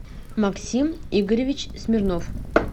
максим игоревич смирнов